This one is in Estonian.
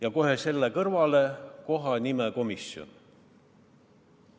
Ja kohe selle kõrval – kohanimekomisjon.